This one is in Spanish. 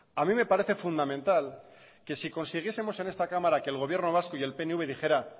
a mí me parece fundamental que si consiguiesemos en esta cámara que el gobierno vasco y el pnv dijera